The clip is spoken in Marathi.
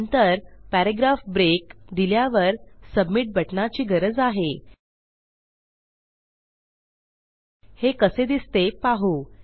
नंतर पॅराग्राफ ब्रेक दिल्यावर सबमिट बटणाची गरज आहे हे कसे दिसते पाहू